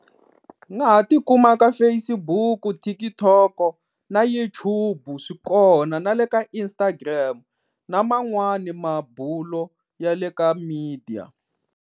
U nga ha tikuma ka Facebook, TikTok na YouTube swi kona na le ka Instagram na man'wani mabulo ya le ka media.